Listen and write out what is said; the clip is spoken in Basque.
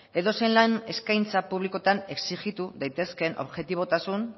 edozein lan eskaintza publikotan exijitu daitezkeen objetibotasun